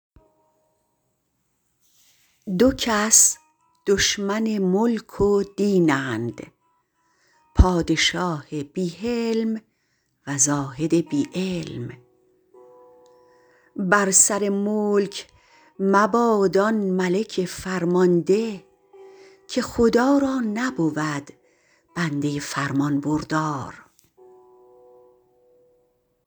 دو کس دشمن ملک و دینند پادشاه بی حلم و زاهد بی علم بر سر ملک مباد آن ملک فرمانده که خدا را نبود بنده فرمانبردار